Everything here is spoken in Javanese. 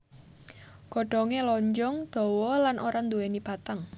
Godhongé lonjong dawa lan ora nduwèni batang